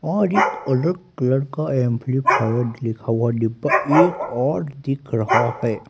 और एक अलग कलर का एम्प्लीफायर लिखा हुआ डिब्बा एक और दिख रहा है।